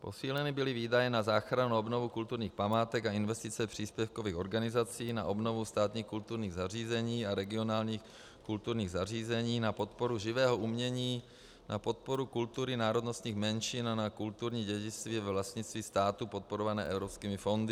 Posíleny byly výdaje na záchranu a obnovu kulturních památek a investice příspěvkových organizací na obnovu státních kulturních zařízení a regionálních kulturních zařízení, na podporu živého umění, na podporu kultury národnostních menšin a na kulturní dědictví ve vlastnictví státu podporované evropskými fondy.